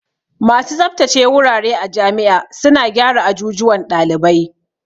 Masu tsabtace wurare a jami'a suna gyara ajujuwan ɗalibai